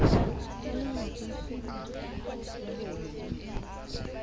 ka lengope kgidi ya boi